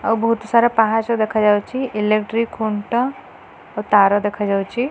ଆଉ ବହୁତ୍ ସାରା ପାହାଚ ଦେଖାଯାଉଛି ଇଲେକ୍ଟ୍ରି ଖୁଣ୍ଟ ଓ ତାର ଦେଖାଯାଉଛି।